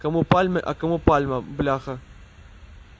кому пальмы а кому пальма бляха